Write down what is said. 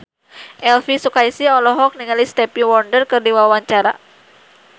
Elvi Sukaesih olohok ningali Stevie Wonder keur diwawancara